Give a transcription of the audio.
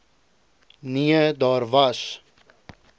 nee daar was